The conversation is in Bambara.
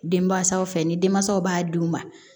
Denmansaw fɛ ni denmansaw b'a d'u ma